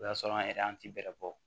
O y'a sɔrɔ an yɛrɛ an ti bɛrɛ bɔ